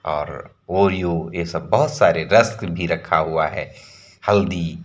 और ओरियो ये सब बोहोत सारे रस्क भी रखा हुआ है। हल्दी--